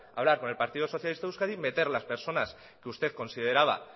hablar con el partido socialista de euskadi meter las personas que usted consideraba